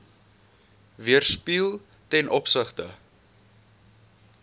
weerspieël ten opsigte